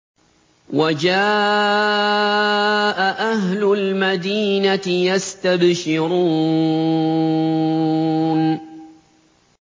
وَجَاءَ أَهْلُ الْمَدِينَةِ يَسْتَبْشِرُونَ